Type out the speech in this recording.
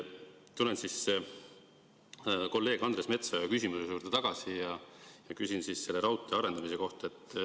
Tulen kolleeg Andres Metsoja küsimuse juurde tagasi ja küsin raudtee arendamise kohta.